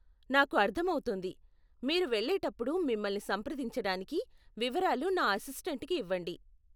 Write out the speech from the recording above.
నాకు అర్ధం అవుతుంది. మీరు వెళ్ళేటప్పుడు మిమ్మల్ని సంప్రదించటానికి వివరాలు నా అసిస్టెంట్కి ఇవ్వండి.